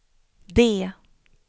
D